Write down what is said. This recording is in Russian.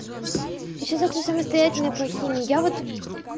ещё завтра самостоятельная по химии я вот